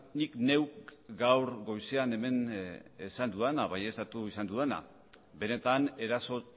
nik neuk gaur goizean hemen esan dudana baieztatu izan dudana benetan eraso